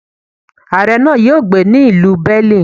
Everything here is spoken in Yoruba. Aare náà yóò gbé ní ìlú Berlin.